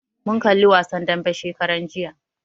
Mun kalli wasan dambe shekaran jiya